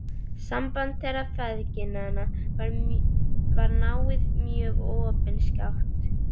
Samband þeirra feðginanna var náið mjög og opinskátt.